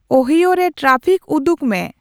Ohio ᱨᱮ traffic ᱩᱫᱩᱜ ᱢᱮ